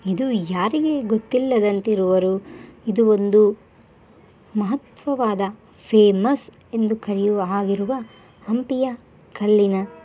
ಇದು ಯಾರಿಗೆ ಗೊತ್ತಿಲ್ಲದಂತಿರುವರು ಇದು ಒಂದು ಮಹತ್ವವಾದ ಫೇಮಸ್ ಎಂದು ಕರಿಯುವ ಆಗಿರುವ ಹಂಪಿಯ ಕಲ್ಲಿನ --